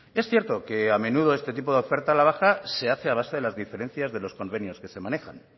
es cierto que a menudo este tipo de oferta a la baja se hace a base de las diferencias de los convenios que se manejan